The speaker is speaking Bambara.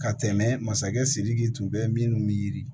Ka tɛmɛ masakɛ sidiki tun bɛ minnu bɛ yiri